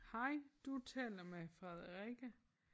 Hej du taler med Frederikke